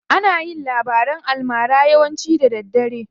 Ana yin labaran almara yawanci da daddare ne.